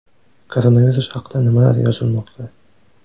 Koronavirus haqida nimalar yozilmoqda ?